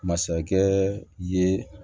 Masakɛ ye